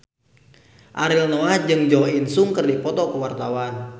Ariel Noah jeung Jo In Sung keur dipoto ku wartawan